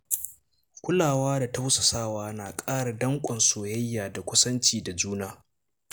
Kulawa da tausasawa na ƙara danƙon soyayya da kusanci da juna.